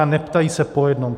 A neptají se po jednom.